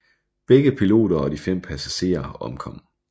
Begge piloter og de fem passagerer omkom